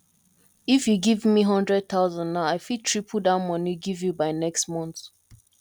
if you give me hundred thousand now i fit triple dat money give you by next month